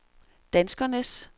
danskernes